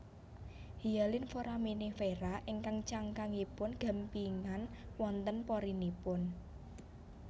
Hyalin Foraminifera ingkang cangkangipun gampingan wonten porinipun